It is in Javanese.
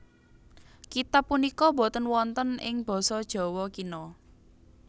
Kitab punika boten wonten ing basa Jawa Kina